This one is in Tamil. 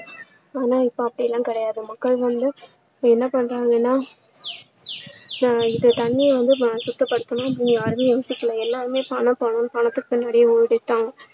ஆனா இப்போ அப்படியெல்லாம் கிடையாது மக்கள் வந்து என்ன பண்றாங்கன்னா வந்துட்டு தண்ணிய வந்து சுத்தப்படுத்தணும் அப்படின்னு யாருமே யோசிக்கல எல்லாருமே பணம் பணம்னு பணத்துக்கு பின்னாடியே ஓடிட்டாங்க